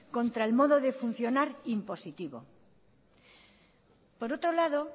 contra el modo de funcionar impositivo por otro lado